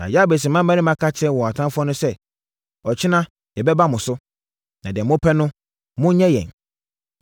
Na Yabes mmarima ka kyerɛɛ wɔn atamfoɔ no sɛ, “Ɔkyena yɛbɛba mo so, na deɛ mopɛ no, monyɛ yɛn.”